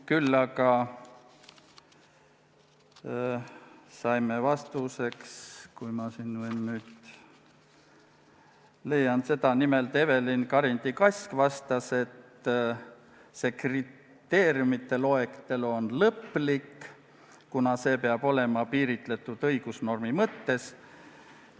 Küll aga ütles Evelin Karindi-Kask, et see kriteeriumide loetelu on lõplik, kuna see peab olema piiritletud õigusnormi mõttes.